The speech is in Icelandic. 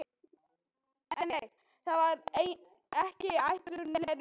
En nei, það var ekki ætlun Lenu.